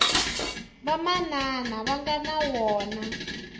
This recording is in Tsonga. vamanana va nga na wona